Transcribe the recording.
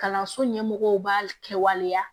Kalanso ɲɛmɔgɔw b'a kɛ waleya